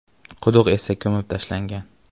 Quduq esa ko‘mib tashlangan.